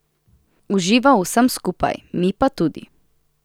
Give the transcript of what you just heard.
Uživa v vsem skupaj, mi pa tudi.